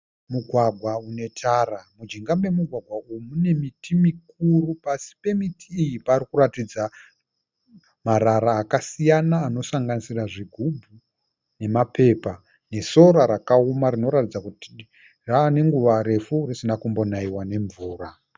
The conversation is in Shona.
Mugwagwa une tara. Mujinga memugwagwa uyu mune miti mikuru, pasi pemiti iyi parikuratidza marara akasiyana anosanganisira zvigubhu nemapepa nesora rakaoma rinoratidza kuti rava nenguva refu risina kumbonaiwa nemvura